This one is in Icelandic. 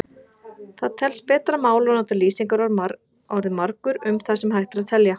Það telst betra mál að nota lýsingarorðið margur um það sem hægt er að telja.